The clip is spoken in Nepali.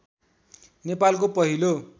नेपालको पहिलो